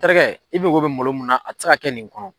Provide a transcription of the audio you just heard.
Terikɛ, i bɛko bɛ malo mun na a tɛ se ka kɛ nin bolo.